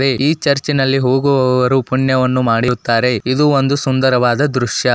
ಈ ಚರ್ಚಿನಲ್ಲಿ ಹೋಗುವವರು ಪುಣ್ಯವನ್ನು ಮಾಡಿರುತ್ತಾರೆ ಇದು ಒಂದು ಸುಂದರವಾದ ದೃಶ್ಯ.